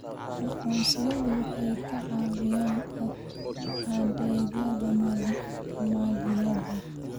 Aqoonsiyadu waxay ka caawiyaan adeegyada maaliyadeed.